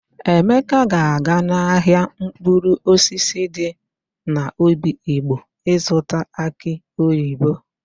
Emeka ga-aga n'ahịa mkpụrụosisi dị n'obigbo ịzụta akị oyibo.